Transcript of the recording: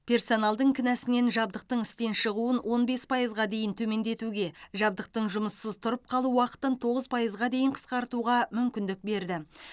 персоналдың кінәсінен жабдықтың істен шығуын он бес пайызға дейін төмендетуге жабдықтың жұмыссыз тұрып қалу уақытын тоғыз пайызға дейін қысқартуға мүмкіндік берді